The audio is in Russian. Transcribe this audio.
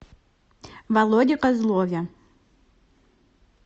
володе козлове